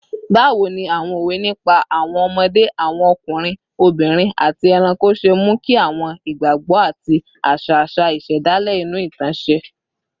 Báwo ni àwọn òwe nípa àwọn ọmọdé, àwọn ọkùnrin, obìnrin, àti ẹranko ṣe mú kí àwọn ìgbàgbọ́ àti àṣà àṣà ìṣẹ̀dálẹ̀ inú ìtàn ṣe?